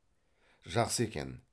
жақсы екен